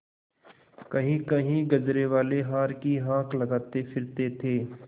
कहींकहीं गजरेवाले हार की हाँक लगाते फिरते थे